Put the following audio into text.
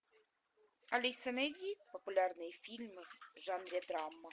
алиса найди популярные фильмы в жанре драма